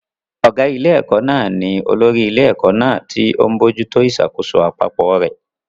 Ọ̀gá ilé-ẹ̀kọ́ náà ni olórí ilé-ẹ̀kọ́ náà, tí ó ń bójú tó ìṣàkóso àpapọ̀ rẹ̀.